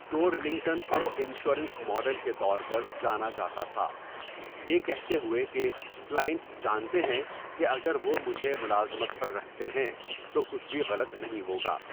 ٹورلنگٹن کو 'insurance model' کے طور پر جانا جاتا تھا، یہ کہتے ہوئے کہ 'کلائنٹس جانتے ہیں کہ اگر وہ مجھے ملازمت پر رکھتے ہیں تو کچھ بھی غلط نہیں ہوگا'۔